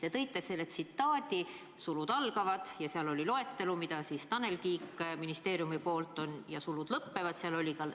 Te tõite selle tsitaadi, sulud algavad, ja seal oli loetelu, mida Tanel Kiik ministeeriumi poolt, ja sulud lõppevad.